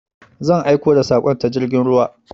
Zan aiko da saƙon ta jirgin ruwa.